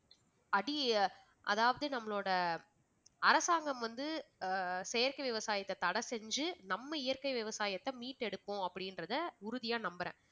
அடி~ அதாவது நம்மளோட அரசாங்கம் வந்து ஆஹ் செயற்கை விவசாயத்த தடை செஞ்சு நம்ம இயற்கை விவசாயத்தை மீட்டெடுக்கும் அப்படின்றத உறுதியா நம்புறேன்